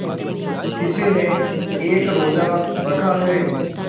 किसी ने एक रोज़ा रखा है